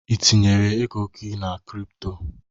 Ị tinyere ego na ego crypto?